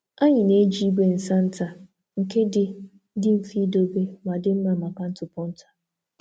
Anyị na-eji igwe nsa nta nke dị mfe idobe ma dị mma maka ntụpọ nta.